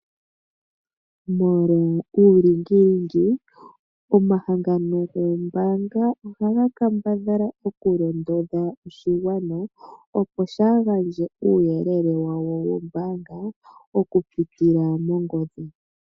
Molwa uulingilingi omahangano goombanga ohaga kambadhala okulondodha oshigwana, opo shaa gandje uuyelele wawo wombaanga okupitila mongodhi.